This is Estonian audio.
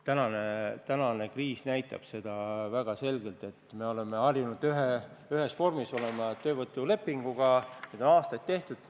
Tänane kriis näitab väga selgelt, et me oleme harjunud ühe vormiga, töövõtulepinguga, neid on aastaid tehtud.